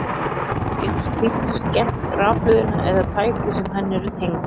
Getur slíkt skemmt rafhlöðuna eða tæki sem henni eru tengd?